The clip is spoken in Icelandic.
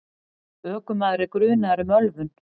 Ökumaður er grunaður um ölvun.